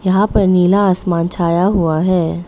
यहां पर नीला आसमान छाया हुआ है।